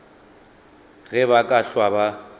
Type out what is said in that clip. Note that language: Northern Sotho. ge ba ka hlwa ba